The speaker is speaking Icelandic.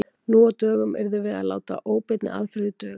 Nú á dögum yrðum við því að láta óbeinni aðferðir duga.